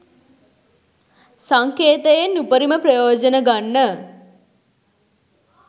සංකේතයෙන් උපරිම ප්‍රයෝජන ගන්න